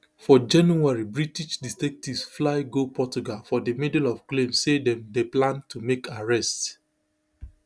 forjanuarybritish detectives fly go portugal for di middle of claims say dem dey plan to make arrests